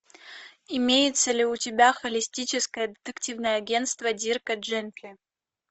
имеется ли у тебя холистическое детективное агентство дирка джентли